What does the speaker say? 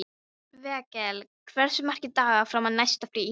Vékell, hversu margir dagar fram að næsta fríi?